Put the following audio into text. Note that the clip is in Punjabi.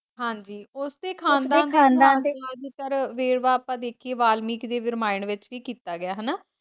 ਹਾਂਜੀ ਵੇਲ ਵਾਪ ਅਗਰ ਆਪਾਂ ਦੇਖਿਏ ਤਾਂ ਵਾਲਮੀਕੀ ਦੀ ਰਾਮਾਇਣ ਵਿੱਚ ਵੀ ਕੀਤਾ ਗਿਆ ਹਨਾ।